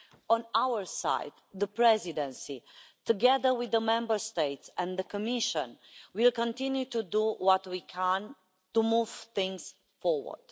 On our side, the Presidency, together with the Member States and the Commission, will continue to do what we can to move things forward.